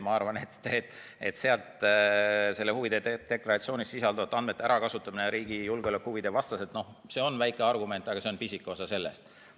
Ma arvan, et huvide deklaratsioonis sisalduvate andmete ärakasutamine riigi julgeolekuhuvide vastaselt on väike võimalus, aga see on pisike osa argumentidest.